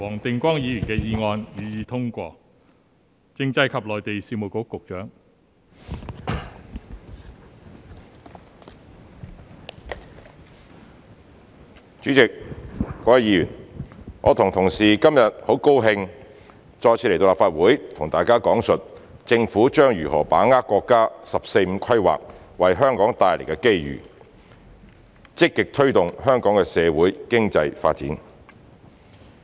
代理主席及各位議員，我和同事今天很高興再次來到立法會，向大家講述政府將如何把握國家"十四五"規劃為香港帶來的機遇，積極推動香港的社會、經濟發展。